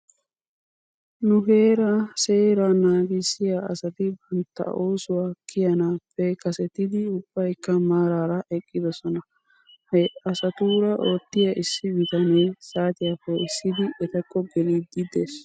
Nu heeraa seeraa naagissiyaa asati bantta oosuwaa kiyanaappe kasetisetidi ubbaykka maaraara eqqidosona. He asatuura oottiyaa issi bitanee saatiyaa poo'issidi etakko geliiddi des.